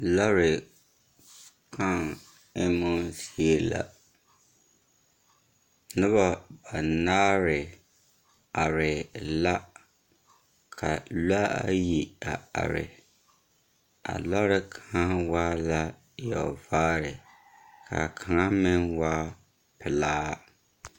Lͻre kãã emmo zie la. Noba banaare are la, ka a lͻͻ ayi a are a lͻre kaŋa waa la yͻͻvaare ka kaŋa meŋ waa pelaa.